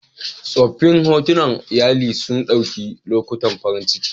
Tsoffin hotunan iyali sun ɗauki lokutan farin ciki